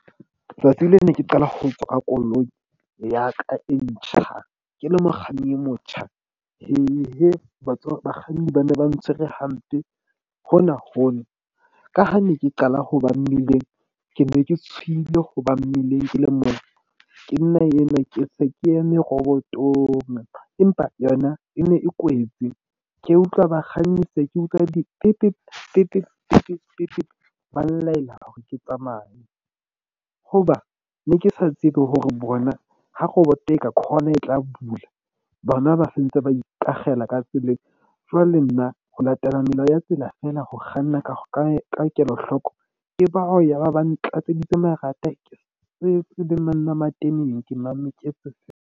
Tsatsi leo ne ke qala ho utlwa koloi ya ka e ntjha ke le mokganni e motjha. Bakganni ba ne ba ntshwere hampe. Hona hono ka ha ne ke qala ho ba mmileng, ke ne ke tshohile hoba mmileng ke le moo ke nna eno ke se ke eme robotong, empa yona e ne e kwetse, ke utlwa bakganni se ke utlwa . Ba nlaela hore ke tsamaye hoba ne ke sa tsebe hore bona ha roboto khona e tla bula. Bana ba sentse ba ikakgela ka tseleng. Jwale nna ho latela melao ya tsela feela. Ho kganna ka kelohloko ke bao yaba ba ntlatselletse marata ke le tseleng, monna mateneng ke mametse .